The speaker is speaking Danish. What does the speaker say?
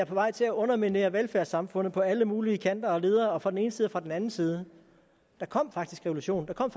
på vej til at underminere velfærdssamfundet på alle mulige kanter og ledder og fra den ene side og fra den anden side der kom faktisk revolution der kom